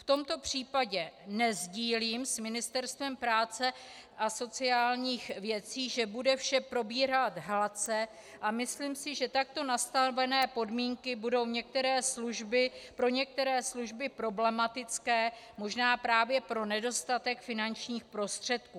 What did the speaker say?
V tomto případě nesdílím s Ministerstvem práce a sociálních věcí, že bude vše probíhat hladce, a myslím si, že takto nastavené podmínky budou pro některé služby problematické, možná právě pro nedostatek finančních prostředků.